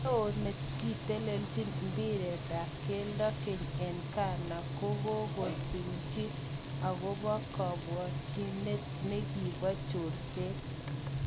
Neo nekitelelchin mbiret ab keldo keny eng Ghana kogo ngololsejige okobo kobwotyinet nekibo chorset.